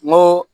N ko